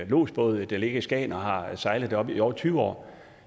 lodsbåd der ligger i skagen og har sejlet deroppe i over tyve år